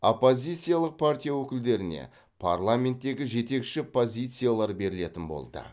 оппозициялық партия өкілдеріне парламенттегі жетекші позициялар берілетін болды